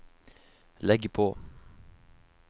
legg på